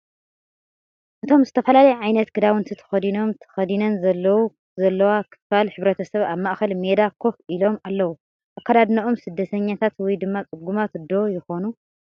እቶም ዝተፈላለየ ዓይነት ክዳውንቲ ተኸዲኖም/ተኸዲነን ዘለዉ /ዘለዋ ክፋል ሕብረተሰብ ኣብ ማእከል ሜዳ ኮፍ ኢሎም ኣለዉ፡፡ አከዳድነኦም ስደተኛታት ወይ ድማ ፅጉማት ዶ ይኾኑ?